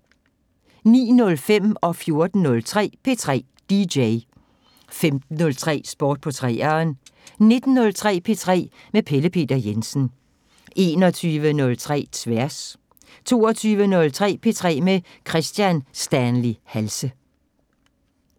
09:05: P3 DJ 14:03: P3 DJ 15:03: Sport på 3'eren 19:03: P3 med Pelle Peter Jensen 21:03: Tværs 22:03: P3 med Kristian Stanley Halse